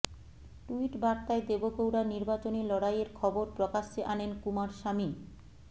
tweet বার্তায় দেবগৌড়ার নির্বাচনী লড়াইয়ের খবর প্রকাশ্যে আনেন কুমারস্বামী